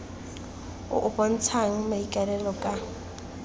o o bontshang maikaelelo ka